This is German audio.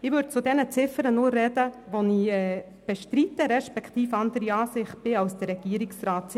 Ich spreche nur zu denjenigen Ziffern, die ich bestreite, bei denen ich anderer Meinung bin als der Regierungsrat.